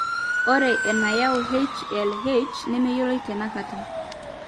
Ore enayau HLHs nemeyioloi tenakata.